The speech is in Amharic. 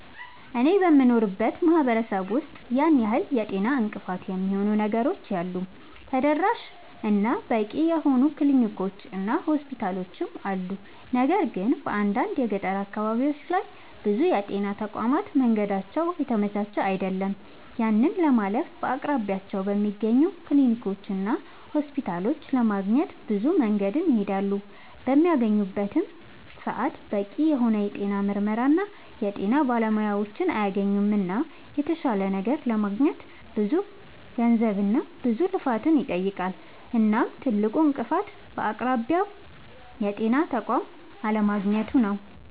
አኔ በምኖርበት ማህበረሰብ ውስጥ ያን ያህል የጤና እንቅፋት የሚሆኑ ነገሮች የሉም ተደራሽ እና በቂ የሆኑ ክሊኒኮች እና ሆስፒታሎችም አሉ። ነገር ግን በአንዳንድ የገጠር አካባቢዎች ላይ ብዙ የጤና ተቋማት መንገዳቸው የተመቻቸ አይደለም። ያንን ለማለፍ በአቅራቢያቸው በሚገኙ ክሊኒኮችና ሆስፒታሎች ለማግኘት ብዙ መንገድን ይሄዳሉ። በሚያገኙበትም ሰዓት በቂ የሆነ የጤና ምርመራና የጤና ባለሙያዎችን አያገኙምና የተሻለ ነገር ለማግኘት ብዙ ገንዘብና ብዙ ልፋትን ይጠይቃል። እናም ትልቁ እንቅፋት በአቅራቢያው የጤና ተቋም አለማግኘቱ ነዉ